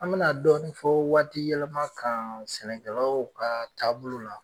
An bɛna dɔɔn fɔ waati yɛlɛma kan sɛnɛkɛlaw ka taabolo la.